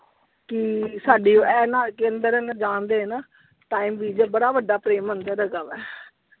ਕੀ ਸਾਡੀ ਇਹਨਾਂ ਜਾਣ ਦੇਣ ਬੜਾ ਵੱਡਾ ਪ੍ਰੇਮ ਮੰਦਿਰ ਹੈਗਾ ਵਾ।